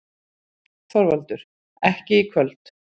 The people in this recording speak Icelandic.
ÞORVALDUR: Ekki í kvöld.